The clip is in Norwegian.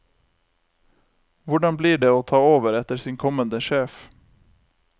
Hvordan blir det å ta over etter sin kommende sjef?